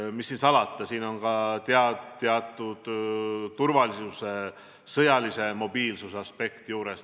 Ja mis seal salata, siin on ka teatud turvalisuse, sõjalise mobiilsuse aspekt juures.